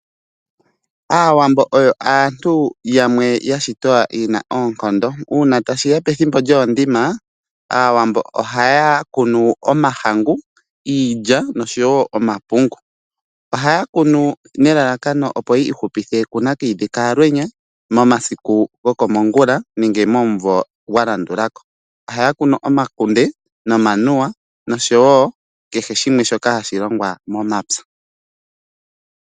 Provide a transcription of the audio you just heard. Aawambo oyo aantu yamwe ya shitwa ye na oonkondo. Uuna tashi ya pethimbo lyoondima Aawambo ohaya kunu omahangu, iilya oshowo omapungu. Ohaya kunu nelalakano, opo ya ihupithe kunakayidhi kaalwenya momasiku gokomongula nenge momumvo gwa landulako. Ohaya kunu omakunde, omanuwa nakehe shoka hashi longwa momapya.